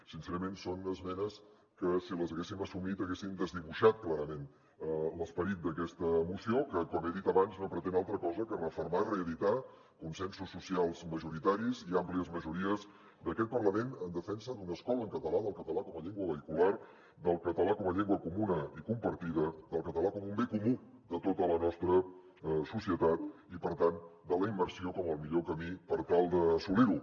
sincerament són esmenes que si les haguéssim assumit haguessin desdibuixat clarament l’esperit d’aquesta moció que com he dit abans no pretén altra cosa que refermar reeditar consensos socials majoritaris i àmplies majories d’aquest parlament en defensa d’una escola en català del català com a llengua vehicular del català com a llengua comuna i compartida del català com un bé comú de tota la nostra societat i per tant de la immersió com el millor camí per tal d’assolir ho